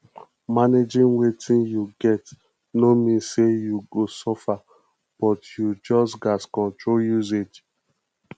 managing wetin yu get no mean say yu go suffer but yu just gats control usage